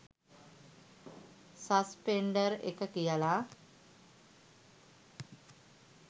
Suspender එක කියල.